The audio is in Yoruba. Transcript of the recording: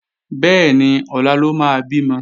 Bẹ́ẹ̀ni, ọ̀la ló máa bímọ